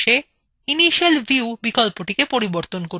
PDF dialog boxএ initial ভিউবিকল্প পরিবর্তন করুন